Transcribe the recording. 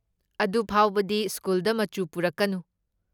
ꯑꯗꯨꯐꯥꯎꯕꯗꯤ ꯁ꯭ꯀꯨꯜꯗ ꯃꯆꯨ ꯄꯨꯔꯛꯀꯅꯨ꯫